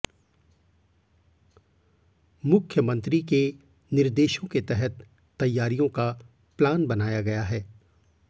मुख्यमंत्री के निर्देशों के तहत तैयारियों का प्लान बनाया है